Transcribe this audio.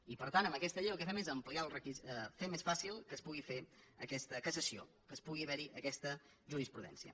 i per tant amb aquesta llei el que fem és fer més fàcil que es pugui fer aquesta cassació que pugui haver hi aquesta jurisprudència